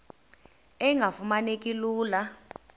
engafuma neki lula